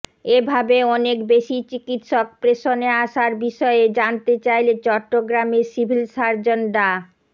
এভাবে অনেক বেশি চিকিৎসক প্রেষণে আসার বিষয়ে জানতে চাইলে চট্টগ্রামের সিভিল সার্জন ডা